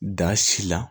Da si la